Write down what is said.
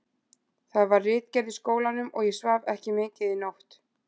Það var ritgerð í skólanum og ég svaf ekki mikið í nótt.